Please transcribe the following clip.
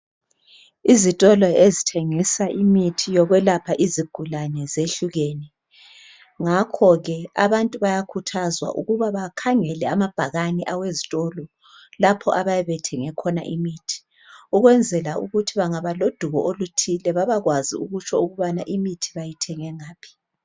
Izitolo ezithengisa imithi yokwelapha izigulane zehlukene, ngakho-ke abantu bayakhuthazwa ukuba bakhangele amabhakani awezitolo lapho abayabe bethenge khona imithi ukwenzela ukuthi bangaba lodubo oluthile babakwazi ukutsho ukubana imithi bayithenge ngaphi